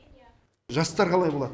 жастар қалай болады